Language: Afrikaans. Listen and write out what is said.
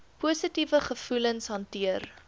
positiewe gevoelens hanteer